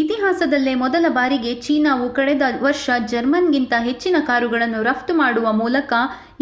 ಇತಿಹಾಸದಲ್ಲೇ ಮೊದಲ ಬಾರಿಗೆ ಚೀನಾವು ಕಳೆದ ವರ್ಷ ಜರ್ಮನಿಗಿಂತ ಹೆಚ್ಚಿನ ಕಾರುಗಳನ್ನು ರಫ್ತು ಮಾಡುವ ಮೂಲಕ